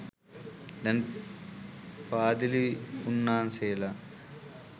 දැන් පාදිලි උන්නාන්සේලා